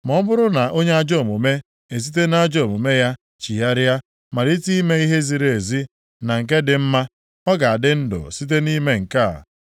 Ma ọ bụrụ na onye ajọ omume esite nʼajọ omume ya chigharịa malite ime ihe ziri ezi na nke dị mma, ọ ga-adị ndụ site nʼime nke a.